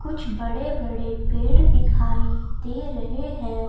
कुछ बड़े-बड़े पेड़ दिखाई दे रहे हैं।